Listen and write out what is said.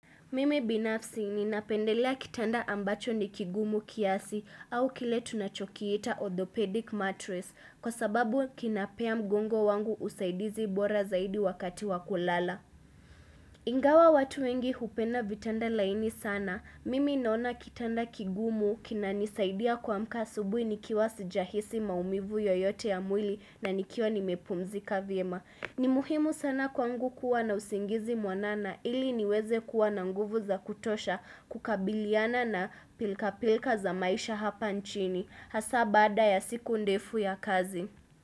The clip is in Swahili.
Mimi binafsi ninapendelea kitanda ambacho ni kigumu kiasi au kile tunachokiita orthopedic mattress kwasababu kinapea mgongo wangu usaidizi bora zaidi wakati wa kulala. Ingawa watu wengi hupenda vitanda laini sana. Mimi naona kitanda kigumu kinanisaidia kuamka asubuhi nikiwa sijahisi maumivu yoyote ya mwili na nikiwa nimepumzika vyema. Ni muhimu sana kwangu kuwa na usingizi mwanana ili niweze kuwa na nguvu za kutosha kukabiliana na pilka pilka za maisha hapa nchini. Hasa baada ya siku ndefu ya kazi.